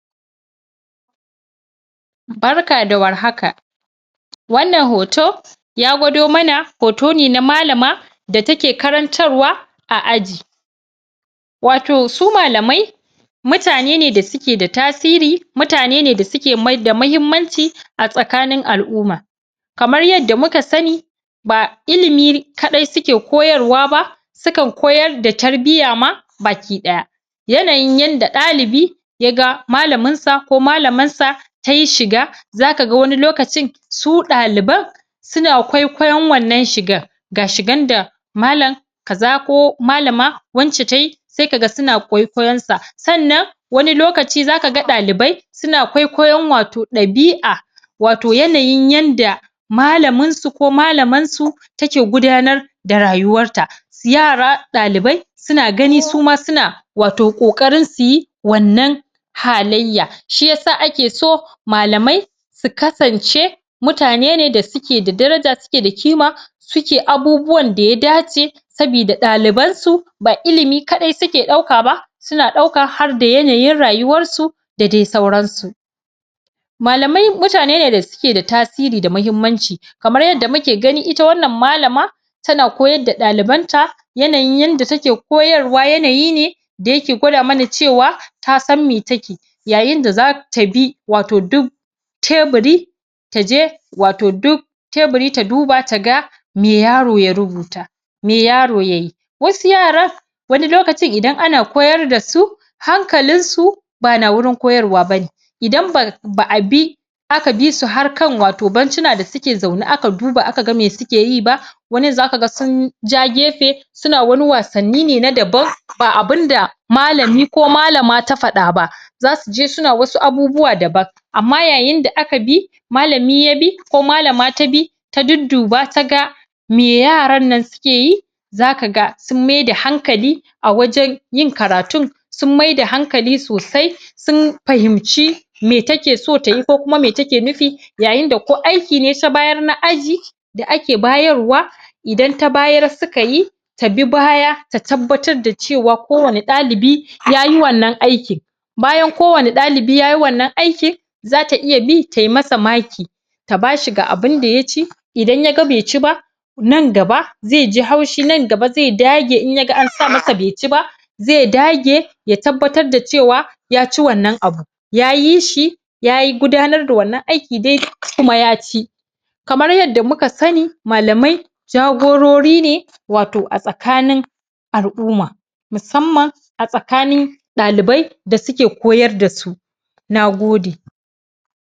Barka da warhaka wannan hoto ya gwado mana hoto ne na malama da take karantarwa a aji. wato su malamai mutane ne da suke da tasiri, mutane ne da suke da muhimmanci a tsakanin al'umma kamar yadda muka sani ba ilimi kaɗai suke koyarwa ba, sukan koyar da tarbiyya ba ki ɗaya. yanayin yanda ɗalibi ya ga malaminsa ko malamarsa ta yi shiga za ka ga wani lokacin su ɗaliban suna kwaikwayon wannan shigan. Ga shigan da malam kaza ko malama wance tai, sai ka ga suna kwaikwayonta. Sannan wani lokaci za ka ga ɗalibai suna kwaikwayon wato ɗabi'a wato yanayin yanda malaminsu ko malamarsu take gudanar da rayuwarta. Yara ɗali bai suna gani suma suna ƙoƙari su yi wannan halayya shi ya sa ake so malamai su kasance mutane ne da suke da daraja suke da kima suke abubuwan da ya dace sabida ɗalibansu ba ilimi kaɗai suke ɗauka ba suna ɗaukan harda yanayin rayuwarsu da dai sauransu. Malamai mutane ne da suke da tasiri da muhimmanci kamar yadda muke gani ita wannan malama tana koyar da ɗalibanta, yanayin yadda take koyarwa yanayi ne da yake gwada mana cewa ta san me take. yayin da za ta bi wato duk teburi ta je wato duk tuburi ta duba ta ga me yaro ya rubuta me yaro ya yi. Wasu yaran idan ana koyar da su hankalinsu ba na wurin koyarwa idan ba a bi aka bi su har kan wato bencina da suke zaune aka ga me suke yi ba, wani za ka ga sun ja gefe suna wani wasanni ne na daban ba abinda malami ko malama da faɗa ba, za su je suna wasu abubuwa daban. Amma yayin da aka bi Malami ya bi ko malama ta bi, ta dudduba ta ga me yarannan suke yi za ka ga sun maida hankali a wajen yin karatun sun maida hankali sosai sun fahimci me take so ta yi ko kuma me take nufi yayin da ko aiki ne ta bayar na aji da ake bayarwa idan ta bayar suka yi, ta bi baya, ta tabbatar da cewa kowane ɗalibi ya yi wannan aikin. bayan kowane ɗalibi ya yi wannan aikin, za ta iya bi tai masa maki ta ba shi ga abinda ya ci, idan ya ga bai ci ba nan gaba zai ji haushi nan gaba zai dage in ya ga an sa masa bai ci ba. zai dage ya tabbatar da cewa ya ci wannan abun. Ya yi shi ya gudanar da wannan aikin kuma ya ci. Kamar yadda muka sani, malamai, jagorori ne, wato a tsakanin al'umma. Musamman a tsakanin ɗalibai da suke koyar da su. Na gode.